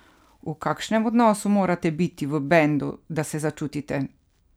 V kakšnem odnosu morate biti v bendu, da se začutite?